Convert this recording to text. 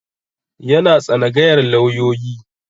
Yana tsanagayar lauyoyi